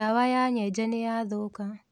Dawa ya nyenje nĩyathũka.